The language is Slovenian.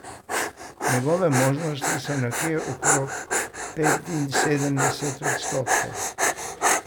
Njegove možnosti so nekje okrog petinsedemdeset odstotkov.